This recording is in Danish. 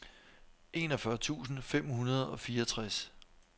enogfyrre tusind fem hundrede og fireogtres